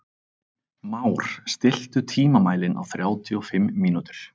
Már, stilltu tímamælinn á þrjátíu og fimm mínútur.